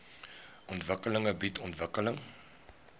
ontwikkeling bied ontwikkeling